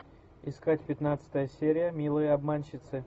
искать пятнадцатая серия милые обманщицы